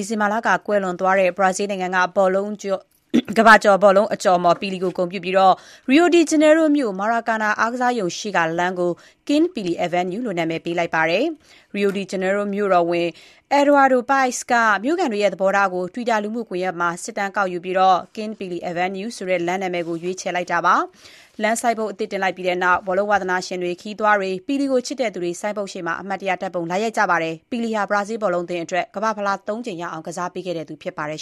ီဇင်ဘာလက ကွယ်လွန်သွားတဲ့ Brazil နိုင်ငံက ကမ္ဘာကျော် ဘောလုံးအကျော်အမော် ပီလီကိုဂုဏ်ပြုပြီး Rio de Janeiro မြို့ Maracana အားကစားရုံ ရှေ့ကလမ်းကို King Pelé Avenue လို့ နာမည်ပေးလိုက်ပါတယ်။ Rio de Janeiro မြို့တော်ဝန် Eduardo Paes (အက်ဒွါဒို ပိုက်စ်) က မြိုခံတွေရဲ့ သဘောထားကို Twitter လူမှုကွန်ရက်မှာ စစ်တမ်းကောက်ပြီး King Pelé Avenue ဆိုတဲ့ လမ်းနာမည်ကို ရွေးလိုက်တာပါ။ လမ်းဆိုင်းဘုတ်အသစ်တင်လိုက်ပြီးနောက် ဘောလုံးဝါသနာရှင်တွေ၊ ခရီးသွားတွေ၊ ပီလီကို ချစ်သူတွေ ဆိုင်းဘုတ် ရှေ့မှာ အမှတ်တရ ဓါတ်ပုံလာရိုက်ကြပါတယ်။ ပီလီဟာ Brazil ဘောလုံးအသင်းအတွက် ကမ္ဘာ့ဖလားဆု ၃ ကြိမ်ရအောင် ကစားပေးခဲ့သူဖြစ်ပါတယ်